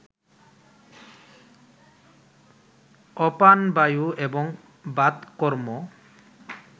অপানবায়ু এবং বাতকর্ম